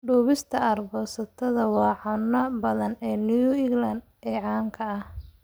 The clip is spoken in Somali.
Duubista aargoosatada waa cunnada badda ee New England ee caanka ah.